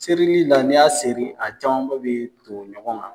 Serili la n'i y'a seri a camanba bɛ ton ɲɔgɔn